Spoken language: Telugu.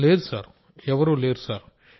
రాజేష్ ప్రజాపతి లేదు సార్ ఎవరూ లేరు సార్